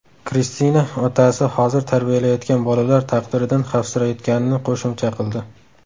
Kristina otasi hozir tarbiyalayotgan bolalar taqdiridan xavfsirayotganini qo‘shimcha qildi.